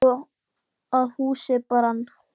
Og það fór svo að húsið brann.